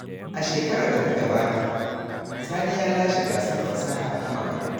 A shekarar da ta gabata, Sani ya lashe gasar fasaha ta makarantu.